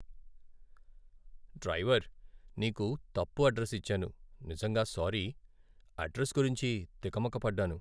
Driver! నీకు తప్పు address ఇచ్చాను, నిజంగా సారీ. అడ్రస్ గురించి తికమక పడ్డాను.